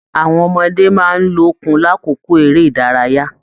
Àwọn ọmọdé máa n lókun l'akoko eré ìdárayá.